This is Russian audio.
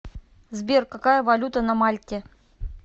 сбер какая валюта на мальте